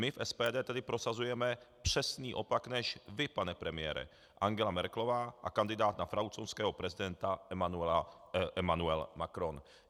My v SPD tedy prosazujeme přesný opak než vy, pane premiére, Angela Merkelová a kandidát na francouzského prezidenta Emmanuel Macron.